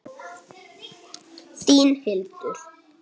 Ég passa ömmu fyrir þig.